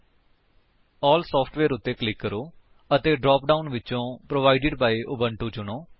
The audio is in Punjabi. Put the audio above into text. ਏਐਲਐਲ ਸਾਫਟਵੇਅਰ ਉੱਤੇ ਕਲਿਕ ਕਰੋ ਅਤੇ ਡਰਾਪ ਡਾਉਨ ਵਿਚੋਂ ਪ੍ਰੋਵਾਈਡਿਡ ਬਾਈ ਉਬੁੰਟੂ ਚੁਣੋ